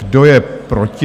Kdo je proti?